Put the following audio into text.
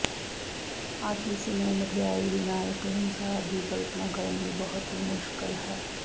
ਅੱਜ ਇਸ ਨੂੰ ਮਠਿਆਈ ਬਿਨਾ ਇੱਕ ਸੰਸਾਰ ਦੀ ਕਲਪਨਾ ਕਰਨ ਲਈ ਬਹੁਤ ਹੀ ਮੁਸ਼ਕਲ ਹੈ